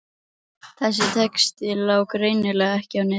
Þessi texti lá greinilega ekki á netinu.